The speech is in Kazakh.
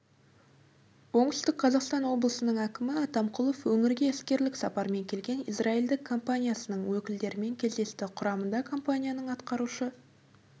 оңтүстік қазақстан облысының әкімі атамқұлов өңірге іскерлік сапармен келген израильдік компаниясының өкілдерімен кездесті құрамында компанияның атқарушы